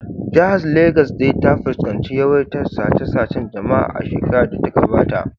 Jihar Legas dai ta fuskanci yawaitar sace-sacen jama’a a shekarar da ta gabata